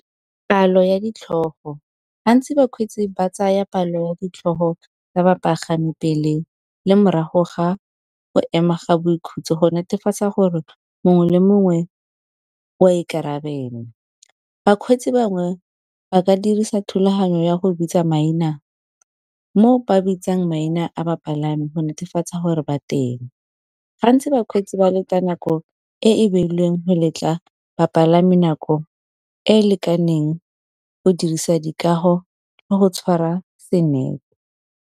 Palo ya ditlhogo, gantsi bakgweetsi ba tsaya palo ya ditlhogo tsa bapagami pele le morago ga go ema ga boikhutso, go netefatsa gore mongwe le mongwe o a ikarabela. Bakgweetsi bangwe ba ka dirisa thulaganyo ya go bitsa maina mo ba bitsang maina a bapalami go netefatsa gore ba teng. Gantsi bakgweetsi ba leta nako e e beilweng go letla bapalami nako e e lekaneng go dirisa dikago le go tshwara .